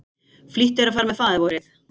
Flýttu þér að fara með Faðirvorið.